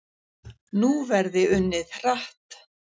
Nú verði unnið hratt